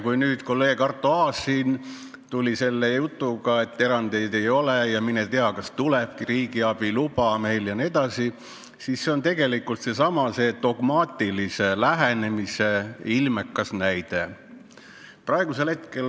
Kui nüüd kolleeg Arto Aas tuli selle jutuga, et erandeid ei ole vaja teha ja mine tea, kas tulebki riigiabi luba, jne, siis see on tegelikult sellesama dogmaatilise lähenemise ilmekas näide.